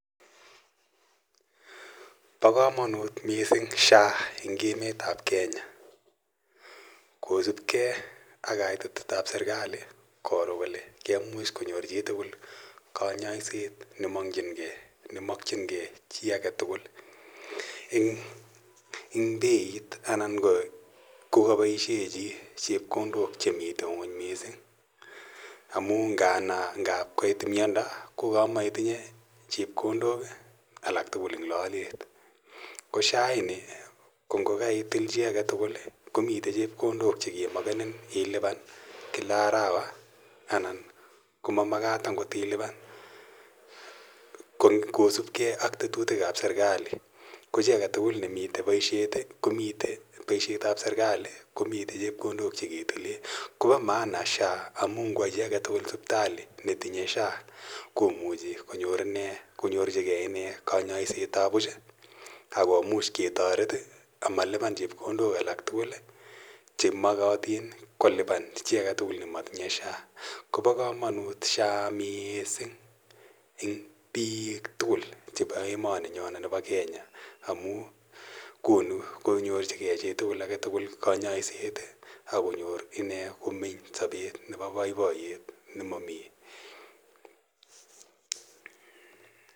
Pa kamanit missing' SHA en emetap Kenya kospgei ak kaititet ap serkali koro kole kemuch konyorchigei tugul kanyaiset ne makchin ge chi age tugul, eng' peit anan kokapaishe chi chepkondok che mitei ng'uny missing' amu ngano ngap koit miando ko kamaitinye chepkondok alak tugul en lalet. Ko SHA ini ko ngoitil chi age tugul, komitei cheokondok che ke makenin iipan kila arawa anan ko ma makat akot ilipan kosupgei ak tetutik ap serkali. Ko chi age tugukl ne mitei poishetap serikali komitei chepkondok che ketile, kopa maana SHA amu gowa chi age tugul sipitali netinye SHA komuchi konyorchige ine kanyaisetap puch ako much ketaret amalipan chepkondok alak tugul che makatin kolipan chi age tugul ne matinye SHA. Ko pa kamanut missing' SHA eng' piik tugul chepo emaninyo po Kenya amu konu konyorchigei chi age tugul kanyaiset ak konyor ine komeny sapet nepo poipoyet ne mami uindo.